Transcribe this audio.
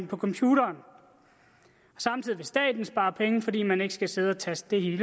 computeren samtidig kan staten spare penge fordi man ikke skal sidde og taste det